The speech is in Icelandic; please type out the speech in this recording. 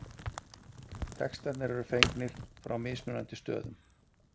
textarnir eru fengnir frá mismunandi stöðum